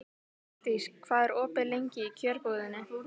Ardís, hvað er opið lengi í Kjörbúðinni?